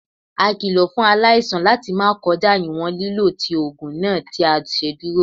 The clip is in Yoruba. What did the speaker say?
A kilo fun alaisan lati ma kọja iwọn lilo ti oogun naa ti a ṣeduro.